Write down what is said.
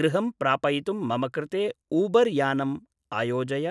गृहं प्रापयितुं मम कृते ऊबर्‌ यानम् आयोजय